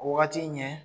O wagati ɲɛ